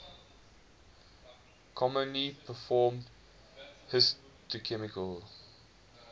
commonly performed histochemical